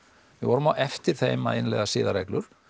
við vorum á eftir þeim að innleiða siðareglur